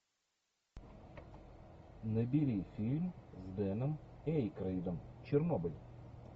набери фильм с дэном эйкройдом чернобыль